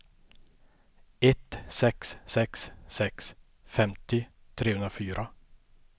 ett sex sex sex femtio trehundrafyra